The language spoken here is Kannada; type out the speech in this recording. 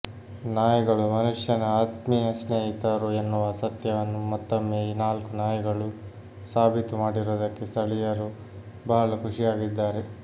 ನಾಯಿಗಳು ಮನುಷ್ಯನ ಆತ್ಮೀಯ ಸ್ನೇಹಿತರು ಎನ್ನುವ ಸತ್ಯವನ್ನು ಮತ್ತೊಮ್ಮೆ ಈ ನಾಲ್ಕು ನಾಯಿಗಳು ಸಾಬೀತು ಮಾಡಿರುವುದಕ್ಕೆ ಸ್ಥಳೀಯರು ಬಹಳ ಖುಷಿಯಾಗಿದ್ದಾರೆ